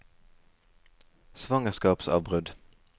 svangerskapsavbrudd